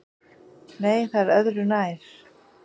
Nei, það er öðru nær!